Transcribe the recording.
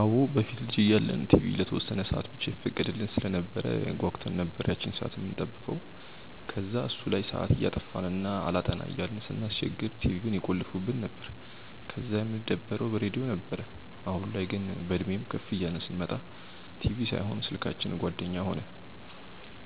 አዎ። በፊት ልጅ እያለን ቲቪ ለተወሰነ ሰአት ብቻ ይፈቀድልን ስለነበር ጓጉተን ነበር ያቺን ሰአት የምንጠብቀው። ከዛ እሱ ላይ ሰአት እያጠፋን እና አላጠና እያልን ስናስቸግር ቲቪውን ይቆልፉብን ነበር፤ ከዛ የምንደበረው በሬድዮ ነበር። አሁን ላይ ግን፤ በእድሜም ከፍ እያልን ስንመጣ ቲቪ ሳይሆን ስልካችን ጓደኛ ሆነን።